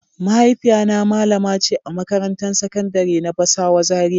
Mahaifiya na malamace a makarantan sakandari na basawa Zaria.